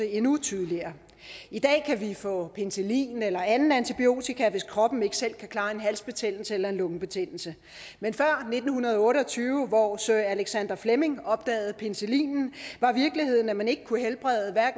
endnu tydeligere i dag kan vi få penicillin eller anden antibiotika hvis kroppen ikke selv kan klare en halsbetændelse eller en lungebetændelse men før nitten otte og tyve hvor sir alexander fleming opdagede penicillinen var virkeligheden at man ikke kunne helbrede